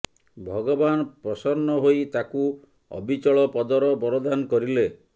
ଭଗବାନ ପ୍ରସନ୍ନ ହୋଇ ତାଙ୍କୁ ଅବିଚଳ ପଦର ବରଦାନ କରିଲେ